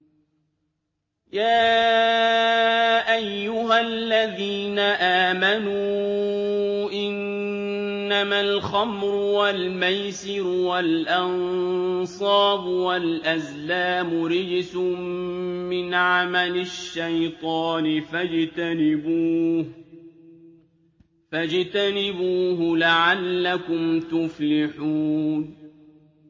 يَا أَيُّهَا الَّذِينَ آمَنُوا إِنَّمَا الْخَمْرُ وَالْمَيْسِرُ وَالْأَنصَابُ وَالْأَزْلَامُ رِجْسٌ مِّنْ عَمَلِ الشَّيْطَانِ فَاجْتَنِبُوهُ لَعَلَّكُمْ تُفْلِحُونَ